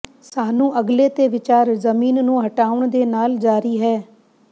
ਸਾਨੂੰ ਅਗਲੇ ਤੇ ਵਿਚਾਰ ਜ਼ਮੀਨ ਨੂੰ ਹਟਾਉਣ ਦੇ ਨਾਲ ਜਾਰੀ ਹੈ